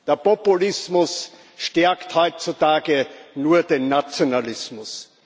Der Populismus stärkt heutzutage nur den Nationalismus.